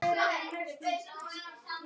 Þú kenndir okkur svo margt.